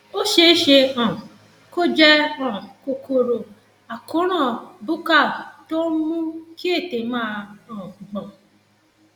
ó ṣeé ṣe um kó jẹ um kòkòrò àkóràn buccal tó ń mú kí ètè máa um gbọn